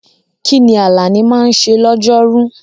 Kí ni Alani máa ń ṣe lọ́jọ́rú?